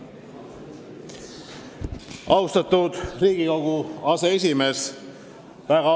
Austatud Riigikogu aseesimees!